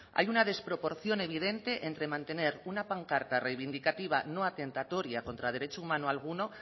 hay una desproporción evidente entre mantener una pancarta reivindicativa no atentatoria contra derecho humano alguno